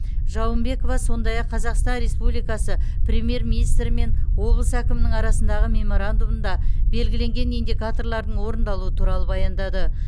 жауынбекова сондай ақ қазақстан республикасы премьер министрі мен облыс әкімінің арасындағы меморандумында белгіленген индикаторлардың орындалуы туралы баяндады